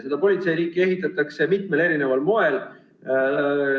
Seda politseiriiki ehitatakse mitmel eri moel.